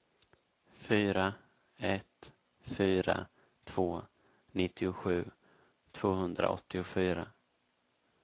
fyra ett fyra två nittiosju tvåhundraåttiofyra